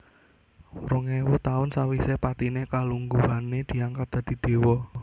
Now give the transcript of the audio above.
Rong éwu taun sawisé patiné kalungguhané diangkat dadi déwa